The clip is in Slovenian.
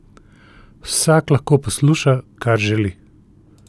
Vsak lahko posluša, kar želi.